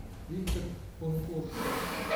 виктор конкурсов